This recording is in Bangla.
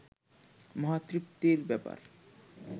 মহা তৃপ্তির ব্যাপার